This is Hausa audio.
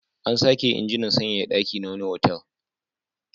An sake injinan sanyaya ɗaki na wani otal.